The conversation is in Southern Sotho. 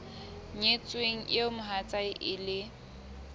nyetsweng eo mohatsae e leng